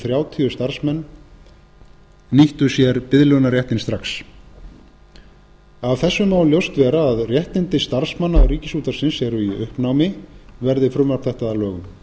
þrjátíu starfsmenn nýttu sér biðlaunaréttinn strax af þessu má ljóst vera að réttindi starfsmanna ríkisútvarpsins eru í uppnámi verði frumvarp þetta að lögum